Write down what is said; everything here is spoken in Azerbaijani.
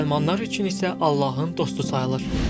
Müsəlmanlar üçün isə Allahın dostu sayılır.